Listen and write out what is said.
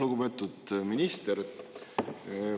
Lugupeetud minister!